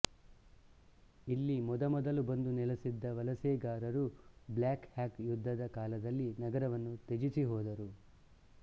ಇಲ್ಲಿ ಮೊದಮೊದಲು ಬಂದು ನೆಲೆಸಿದ್ದ ವಲಸೆಗಾರರು ಬ್ಲ್ಯಾಕ್ ಹಾಕ್ ಯುದ್ಧದ ಕಾಲದಲ್ಲಿ ನಗರವನ್ನು ತ್ಯಜಿಸಿಹೋದರು